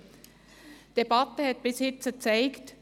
Die Debatte hat bisher gezeigt: